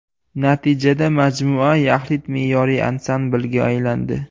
Natijada majmua yaxlit me’moriy ansamblga aylandi.